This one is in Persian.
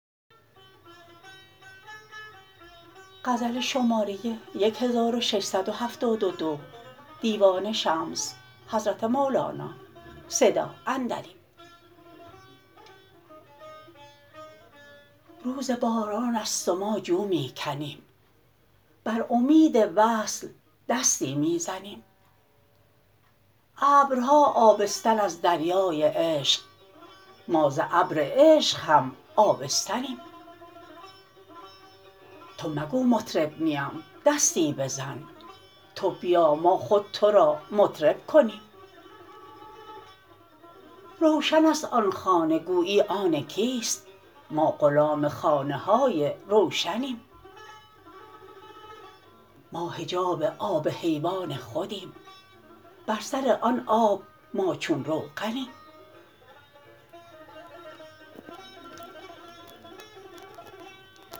روز باران است و ما جو می کنیم بر امید وصل دستی می زنیم ابرها آبستن از دریای عشق ما ز ابر عشق هم آبستنیم تو مگو مطرب نیم دستی بزن تو بیا ما خود تو را مطرب کنیم روشن است آن خانه گویی آن کیست ما غلام خانه های روشنیم ما حجاب آب حیوان خودیم بر سر آن آب ما چون روغنیم